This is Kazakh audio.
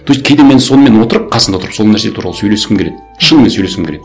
то есть кейде мен сонымен отырып қасында отырып сол нәрсе туралы сөйлескім келеді шынымен сөйлескім келеді